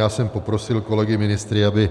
Já jsem poprosil kolegy ministry, aby